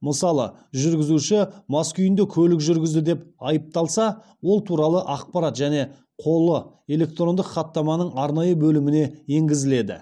мысалы жүргізуші мас күйінде көлік жүргізді деп айыпталса ол туралы ақпарат және қолы электрондық хаттаманың арнайы бөліміне енгізіледі